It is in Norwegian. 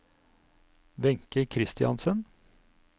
Wenche Christiansen